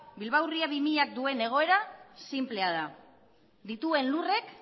bilbao ría bi mila duen egoera sinplea da dituen lurrek